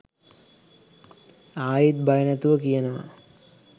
ආයිත් බය නැතුව කියනවා